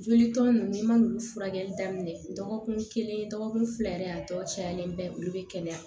Joli tɔ nunnu n'i man n'u furakɛli daminɛ dɔgɔkun kelen dɔgɔkun fila yɛrɛ a tɔ cayalen bɛ olu bɛ kɛnɛya